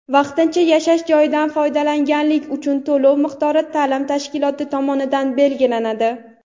Vaqtincha yashash joyidan foydalanganlik uchun to‘lov miqdori ta’lim tashkiloti tomonidan belgilanadi.